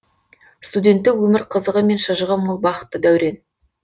студенттік өмір қызығы мен шыжығы мол бақытты дәурен